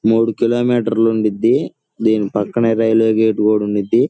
మూడు kilometre లు ఉండింది. దాని పక్కనే రైల్వే గేట్ కూడా ఉండిది.